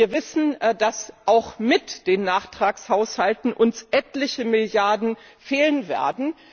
Wir wissen, dass uns auch mit den Nachtragshaushalten etliche Milliarden fehlen werden.